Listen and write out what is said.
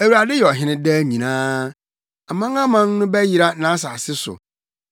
Awurade yɛ ɔhene daa nyinaa; amanaman no bɛyera nʼasase so.